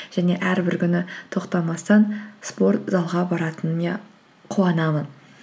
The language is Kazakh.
және әрбір күні тоқтамастан спорт залға қуанамын